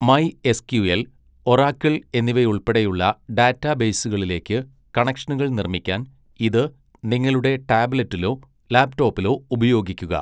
MySQL, Oracle എന്നിവയുൾപ്പെടെയുള്ള ഡാറ്റാബേസുകളിലേക്ക് കണക്ഷനുകൾ നിർമ്മിക്കാൻ ഇത് നിങ്ങളുടെ ടാബ്ലെറ്റിലോ ലാപ്ടോപ്പിലോ ഉപയോഗിക്കുക.